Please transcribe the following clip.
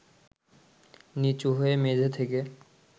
নিচু হয়ে মেঝে থেকে